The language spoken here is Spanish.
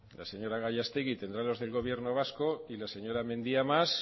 la señora gallastegui tendrá los del gobierno vasco y la señora mendia más